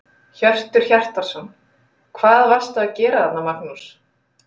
Hjörtur Hjartarson: Hvað varstu að gera þarna Magnús?